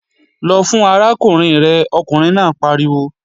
Lọ fún arákùnrin rẹ̀, ọkùnrin náà pariwo!